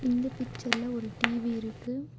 இந்த பிச்சர்ல ஒரு டி_வி இருக்கு.